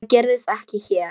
Það gerist ekki hér.